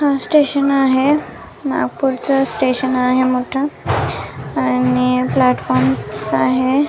हा स्टेशन आहे नागपुरच स्टेशन आहे मोठ आणि प्लॅटफॉर्म आहे.